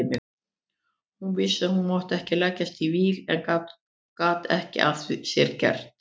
Hún vissi að hún mátti ekki leggjast í víl en gat ekki að sér gert.